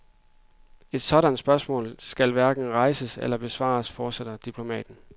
Et sådant spørgsmål skal hverken rejses eller besvares, fortsætter diplomaten.